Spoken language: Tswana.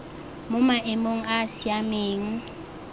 mo maemong a a siameng